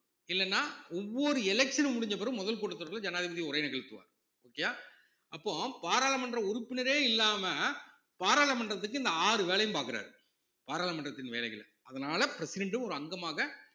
இல்லைன்னா ஒவ்வொரு election உ முடிஞ்ச பிறகும் முதல் கூட்டத்தொடர்ல ஜனாதிபதி உரை நிகழ்த்துவார் okay யா அப்போ பாராளுமன்ற உறுப்பினரே இல்லாம பாராளுமன்றத்துக்கு இந்த ஆறு வேலையும் பாக்குறாரு பாராளுமன்றத்தின் வேலைகள்ல அதனால president ஒரு அங்கமாக